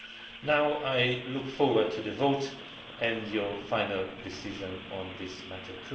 I now look forward to the vote and to your final decision on this matter.